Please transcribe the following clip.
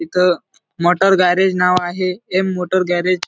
इथ motor garage नाव आहे एम मोटार गॅरेज --